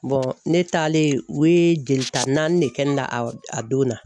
ne taalen o ye jelita naani de kɛ ne la a a donna.